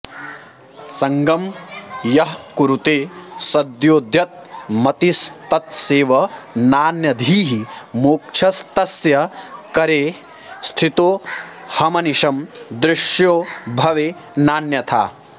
सङ्गं यः कुरुते सदोद्यतमतिस्तत्सेवनानन्यधीः मोक्षस्तस्य करे स्थितोऽहमनिशं दृश्यो भवे नान्यथा